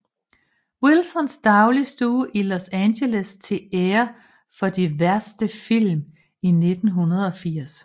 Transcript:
Wilsons dagligstue i Los Angeles til ære for de værste film i 1980